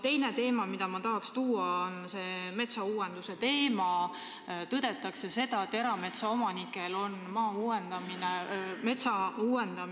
Väidetakse ju seda, et kuigi aastal 2017 tõusis metsamaa hind hüppeliselt, saavad tädi Maalid, kellelt petetakse maa välja, selle eest à la televiisori hinna, nad ei saa maa eest seda reaalset hinda.